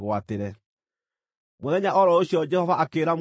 Mũthenya o ro ũcio Jehova akĩĩra Musa atĩrĩ,